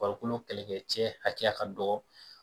Farikolo kɛlɛkɛcɛ hakɛya ka dɔgɔ